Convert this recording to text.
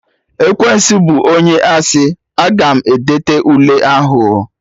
Ekwensu bụ onye asị, Aga m edete Ule ahụ oo